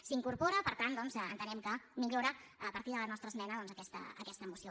s’hi incorpora per tant doncs entenem que millora a partir de la nostra esmena aquesta moció